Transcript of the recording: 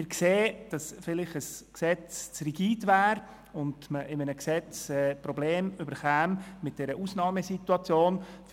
Wir sehen, dass ein Gesetz vielleicht zu rigide wäre und man bei einem Gesetz Probleme bekäme in Bezug auf die Regelung der Ausnahmesituationen.